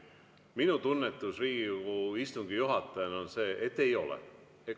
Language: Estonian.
Minu tunnetus Riigikogu istungi juhatajana on see, et ei ole.